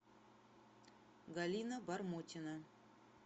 галина бормотина